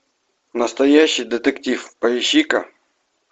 настоящий детектив поищи ка